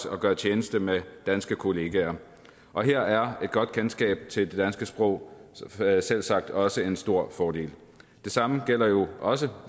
at gøre tjeneste med danske kollegaer og her er et godt kendskab til det danske sprog selvsagt også en stor fordel det samme gælder jo også